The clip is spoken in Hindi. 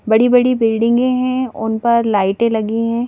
बड़ी-बड़ी बिल्डिंगें हैं उन पर लाइटें लगी हैं.--